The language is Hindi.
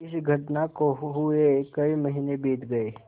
इस घटना को हुए कई महीने बीत गये